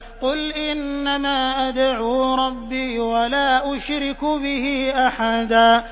قُلْ إِنَّمَا أَدْعُو رَبِّي وَلَا أُشْرِكُ بِهِ أَحَدًا